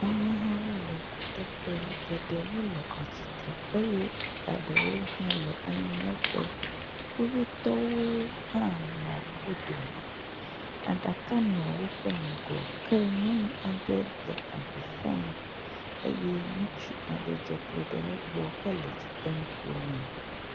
Amehawo le kuteƒe, geɖewo le atsitre eye ɖewo hã le anyinɔƒe. Kuhɛtɔwo hã nɔ wo dome, aɖaka nɔ woƒe ŋgɔ. Ke nyɔnu aɖe le avi fam eye ŋutsu aɖe dze klo ɖe egbɔ hele edzi dem ƒo nɛ.